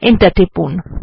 enter টিপুন